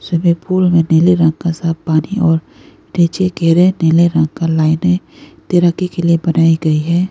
Swimming pool में नीले रंग का साफ पानी और नीले रंग की लाइने बनाई गई है।